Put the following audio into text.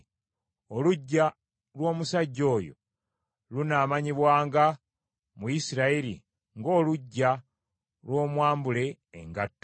Oluggya lw’omusajja oyo lunaamanyibwanga mu Isirayiri ng’Oluggya lw’Omwambule Engatto.